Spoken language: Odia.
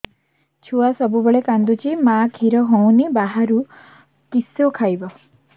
ଛୁଆ ସବୁବେଳେ କାନ୍ଦୁଚି ମା ଖିର ହଉନି ବାହାରୁ କିଷ ଖାଇବ